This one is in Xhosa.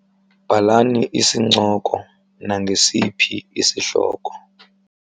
Bhalani isincoko nangesiphi isihloko.